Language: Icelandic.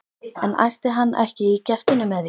En æsti hann ekki í gestunum með því?